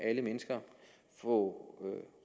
alle mennesker få